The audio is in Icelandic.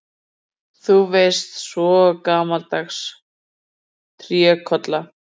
Þú veist, svona gamaldags trékolla.